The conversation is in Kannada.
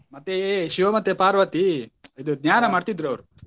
ಮತ್ತೆ ಶಿವ ಮತ್ತೇ ಪಾರ್ವತಿ ಇದು ಮಾಡ್ತಿದ್ರು ಅವರು.